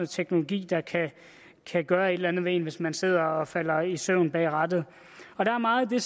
teknologi der kan gøre et eller andet ved en hvis man sidder og falder i søvn bag rattet der er meget af